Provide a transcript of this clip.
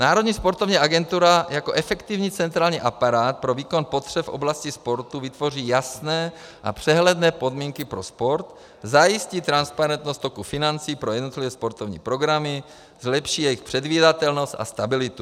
Národní sportovní agentura jako efektivní centrální aparát pro výkon potřeb v oblasti sportu vytvoří jasné a přehledné podmínky pro sport, zajistí transparentnost toku financí pro jednotlivé sportovní programy, zlepší jejich předvídatelnost a stabilitu.